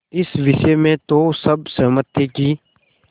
इस विषय में तो सब सहमत थे कि